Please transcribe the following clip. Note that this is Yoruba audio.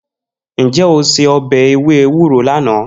Nje o se obe ewe ewuro lana?